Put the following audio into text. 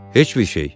Heç bir şey.